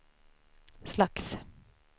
slags